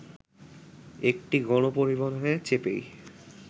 একটি গণপরিবহনে চেপেই